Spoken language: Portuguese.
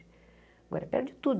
Agora é perto de tudo.